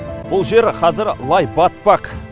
бұл жер қазір лай батпақ